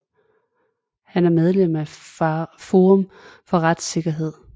Han er medlem af Forum for retssikkerhed